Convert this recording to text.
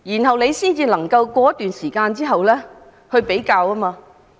這樣便可以在一段時間後作出比較。